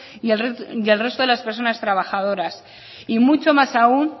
y el resto de las personas trabajadoras y mucho más aún